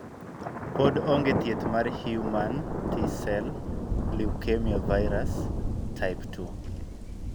Pod ong'e thieth mar Human T cell leukemia virus, type 2.